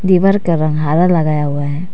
दीवार का रंग हरा लगाया हुआ है।